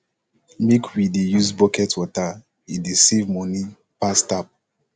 make we dey use bucket water e dey save money pass tap